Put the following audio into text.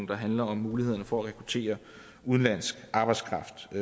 der handler om mulighederne for at rekruttere udenlandsk arbejdskraft